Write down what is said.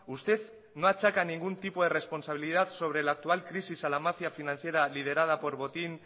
usted no achaca ningún tipo de responsabilidad sobre la actual crisis a la mafia financiera liderada por botín